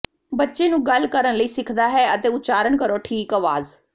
ਬੱਚੇ ਨੂੰ ਗੱਲ ਕਰਨ ਲਈ ਸਿੱਖਦਾ ਹੈ ਅਤੇ ਉਚਾਰਨ ਕਰੋ ਠੀਕ ਆਵਾਜ਼